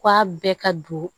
K'a bɛɛ ka don